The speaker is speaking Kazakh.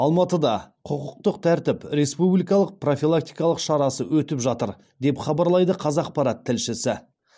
алматыда құқықтық тәртіп республикалық профилактикалық шарасы өтіп жатыр деп хабарлайды қазақпарат тілшісі